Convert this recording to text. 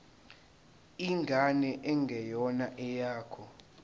ingane engeyona eyakho